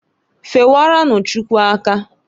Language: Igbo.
Fewerenu Chukwu aka.